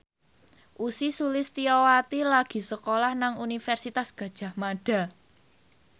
Ussy Sulistyawati lagi sekolah nang Universitas Gadjah Mada